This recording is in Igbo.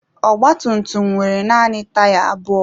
Ọgba tum tum nwere naanị taya abụọ.